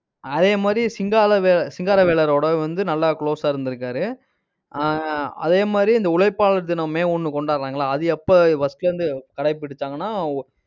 அதே மாதிரி சிங்காலவே~ சிங்காரவேலரோட வந்து நல்லா close ஆஹ் இருந்திருக்காரு. ஆஹ் அதே மாதிரி இந்த உழைப்பாளர் தினம் மே ஒண்ணு கொண்டாடறாங்கல்ல அது எப்ப first ல இருந்து கடைபிடிச்சாங்கன்னா